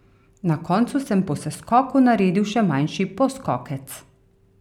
Na koncu sem po seskoku naredil še manjši poskokec.